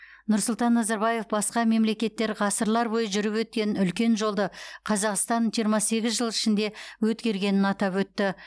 нұрсұлтан назарбаев басқа мемлекеттер ғасырлар бойы жүріп өткен үлкен жолды қазақстан жиырма сегіз жыл ішінде өткергенін атап өтті